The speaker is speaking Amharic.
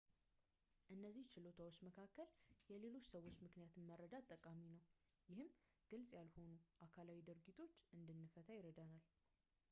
ከእነዚህ ችሎታዎች መካከል የሌሎች ሰዎችን ምክንያት መረዳት ጠቃሚ ነው ይህም ግልፅ ያልሆኑ አካላዊ ድርጊቶችን እንድንፈታ ይረዳናል